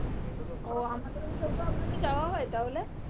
আমাদের ওই side এ আপনাদের যাওয়া হয় তাহলে